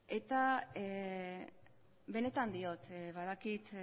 eta benetan diot badakit